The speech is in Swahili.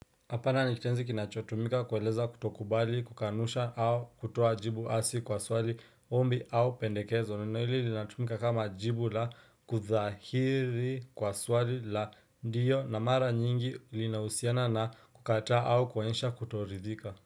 Hapana ni kitenzi kinachotumika kueleza kutokubali kukanusha au kutoa jibu hasi kwa swali ombi au pendekezo neno hili linatumika kama jibu la kuthahiri kwa swali la ndiyo na mara nyingi linahusiana na kukataa au kuonyesha kuto ridhika.